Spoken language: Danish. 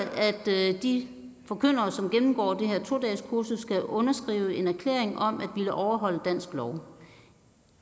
de forkyndere som gennemgår det her to dageskursus skal underskrive en erklæring om at ville overholde dansk lov